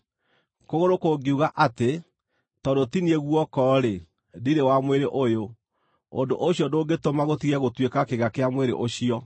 Kũgũrũ kũngiuga atĩ, “Tondũ ti niĩ guoko-rĩ, ndirĩ wa mwĩrĩ ũyũ,” Ũndũ ũcio ndũngĩtũma gũtige gũtuĩka kĩĩga kĩa mwĩrĩ ũcio.